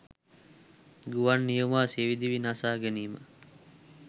ගුවන් නියමුවා සියදිවි නසා ගැනීම